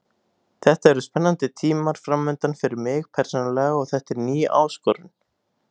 Þetta eru spennandi tímar framundan fyrir mig persónulega og þetta er ný áskorun.